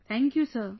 Thank you sir